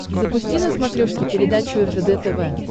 запусти на смотрешке передачу ржд тв